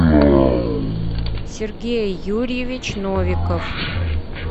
сергей юрьевич новиков